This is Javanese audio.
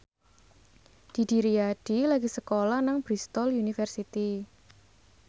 Didi Riyadi lagi sekolah nang Bristol university